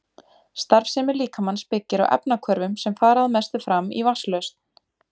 Starfsemi líkamans byggir á efnahvörfum sem fara að mestu fram í vatnslausn.